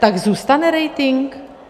Tak zůstane rating?